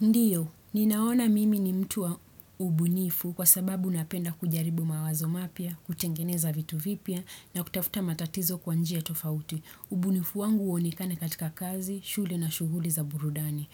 Ndiyo, ninaona mimi ni mtuwa ubunifu kwa sababu unapenda kujaribu mawazo mapya, kutengeneza vitu vipya na kutafuta matatizo kwa njia tofauti. Ubunifu wangu uonikane katika kazi, shule na shuhuli za burudani.